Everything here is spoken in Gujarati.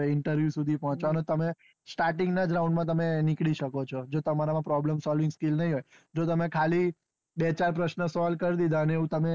જો તમારા મા problem solving skill નહી હોય તો interview સુધી પોંહચીયા ને તમે starting ના round માં નીકળી શકો ચો જો તામ્ર માં problem solving skill નહી હોય જો તમે ખાલી બે ચાર પ્રશ્ન solve કરી દીધા ને એવું તમે